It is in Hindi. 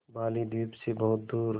बालीद्वीप सें बहुत दूर